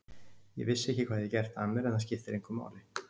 Ég vissi ekki hvað ég hafði gert af mér en það skiptir engu máli.